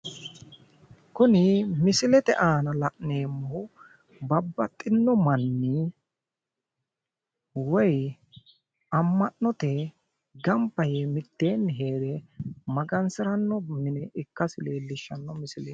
Kuni misilete aana la'neemmohu babbaxxino manni gamba yee mitteenni magansiranno mine ikkansa leellishshanno misileeti.